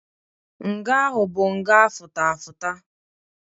Nga ahụ bụ nga afụta afụta.